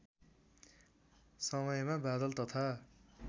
समयमा बादल तथा